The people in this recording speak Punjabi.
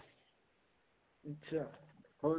ਅੱਛਾ ਉਹ